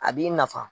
A b'i nafa